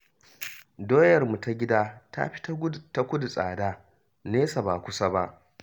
Doyarmu ta gida ta fi ta kudu tsada, nesa ba kusa ba